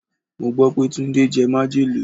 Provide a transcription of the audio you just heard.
Mo gbó pé Túndé jẹ majele.